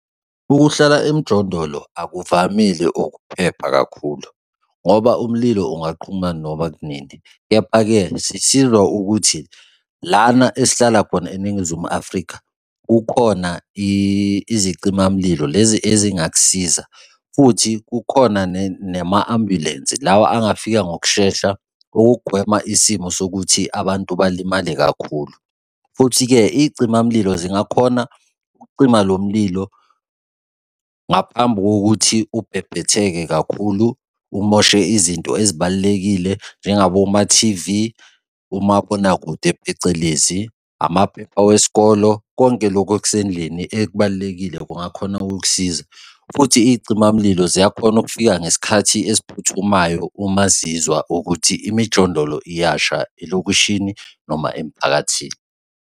Ukuhlala emjondolo akuvamile ukuphepha kakhulu, ngoba umlilo ungaqhuma noma kunini, kepha-ke sisizwa ukuthi lana esihlala khona eNingizimu Afrika kukhona izicimamlilo lezi ezingakusiza, futhi kukhona nama-ambulensi, lawa angafika ngokushesha ukugwema isimo sokuthi abantu balimale kakhulu. Futhi-ke iy'cima mlilo zingakhona ukucima lo mlilo ngaphambi kokuthi ubebhetheke kakhulu umoshe izinto ezibalulekile njengaboma-T_V, omabonakude phecelezi, amaphepha wesikolo, konke lokhu okusendlini ekubalulekile kungakhona ukukusiza. Futhi iy'cimamlilo ziyakhona ukufika ngesikhathi esiphuthumayo uma zizwa ukuthi imijondolo iyasha elokishini noma emphakathini.